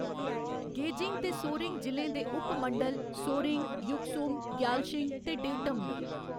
Gazing ते सोरेंग जि'ले दे उप मंडल सोरेंग, युकसोम, ग्यालशिंग ते डेंटम न।